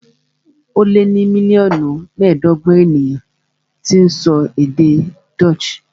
Ó lé ní mílíọ̀nù mẹ́ẹ̀ẹ́dọ́gbọ̀n èèyàn tó ń sọ èdè Dutch